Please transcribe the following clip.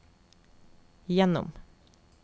gjennom